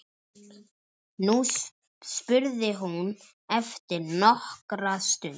spurði hún eftir nokkra stund.